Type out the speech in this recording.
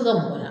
Ka mɔgɔ la